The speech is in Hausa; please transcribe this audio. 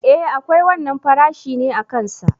E akwai wannan farashi ne akan sa.